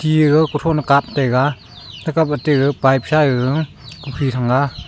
jega kuthon kap taga takap te pipe sa gaga kukhin thang ga.